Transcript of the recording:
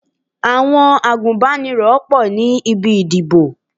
Àwọn agùnbánirọ̀ pọ̀ ní ibi ìdìbò.